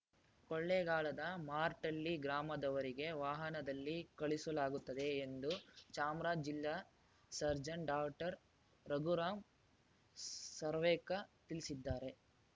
ಕೊಳ್ಳೆಗಾಲದ ಮಾರ್ಟಳ್ಳಿ ಗ್ರಾಮದವರೆಗೆ ವಾಹನದಲ್ಲಿ ಕಳುಹಿಸಲಾಗುತ್ತದೆ ಎಂದು ಚಾಮರಾಜ್ ಜಿಲ್ಲಾ ಸರ್ಜನ್‌ ಡಾಟರ್ ರಘುರಾಂ ಸರ್ವೇಕ ತಿಳಿಸಿದ್ದಾರೆ